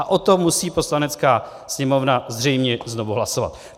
A o tom musí Poslanecká sněmovna zřejmě znovu hlasovat.